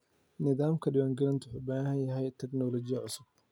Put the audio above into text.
Nidaamka diiwaangelinta wuxuu u baahan yahay tignoolajiyad cusub.